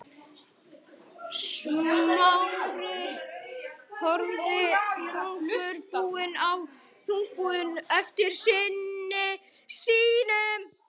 Smári horfði þungbúinn á eftir syni sínum.